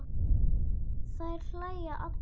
Þær hlæja allar.